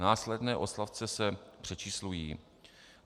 Následné odstavce se přečíslují.